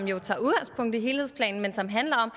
jo tager udgangspunkt i helhedsplanen men som handler om